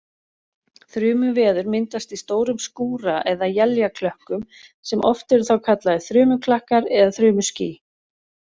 Þrumuveður myndast í stórum skúra- eða éljaklökkum sem oft eru þá kallaðir þrumuklakkar eða þrumuský.